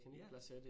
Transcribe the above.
Ja